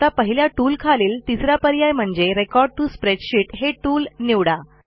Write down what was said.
आता पहिल्या टूलखालील तिसरा पर्याय म्हणजे रेकॉर्ड टीओ स्प्रेडशीट हे टूल निवडा